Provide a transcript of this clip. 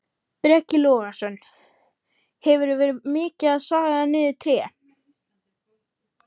Breki Logason: Hefurðu verið mikið að saga niður tré?